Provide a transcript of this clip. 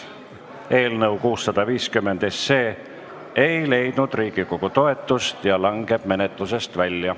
Eelnõu 650 ei leidnud Riigikogu toetust ja langeb menetlusest välja.